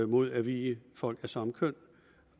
mod at vie folk af samme køn